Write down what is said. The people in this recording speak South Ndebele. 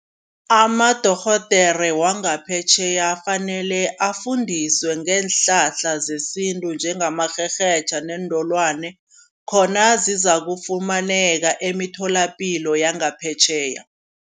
Amadorhodere wangaphetjheya afanele afundiswe ngeenhlahla zesintu. Njengamarherhetjha neentolwane, khona zizakufumaneka emitholapilo yangaphetjheya.